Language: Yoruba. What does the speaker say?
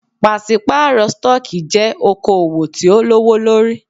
Pàṣípàrọ̀ stọọkí jẹ́ okoòwò tí o lówó lórí.